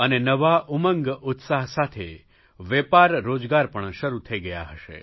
અને નવા ઉમંગઉત્સાહ સાથે વેપારરોજગાર પણ શરૂ થઇ ગયા હશે